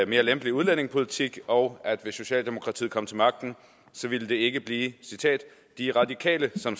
mere lempelig udlændingepolitik og at hvis socialdemokratiet kom til magten ville det ikke blive de radikale som